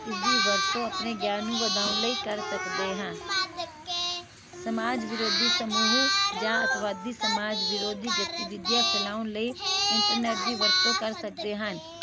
ਇਸਦੀ ਵਰਤੋਂ ਅਸੀਂ ਆਪਣੇ ਗਿਆਨ ਨੂੰ ਵਧਾਉਣ ਲਈ ਕਰ ਸਕਦੇ ਹਾਂ ਸਮਾਜ ਵਿਰੋਧੀ ਸਮੂਹ ਜਾ ਅਤਵਾਦੀ ਸਮਾਜ ਵਿਰੋਧੀ ਗਤੀਵਿਧੀਆਂ ਫੈਲਾਉਣ ਲਈ internet ਦੀ ਵਰਤੋਂ ਕਰ ਸਕਦੇ ਹਨ